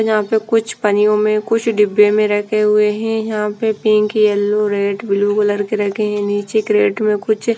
यहाँ पे कुछ पन्नियों में कुछ डिब्बे में रखे हुए हैं यहाँ पे pink yellow red blue colour के रखे हैं नीचे कैरेट में कुछ --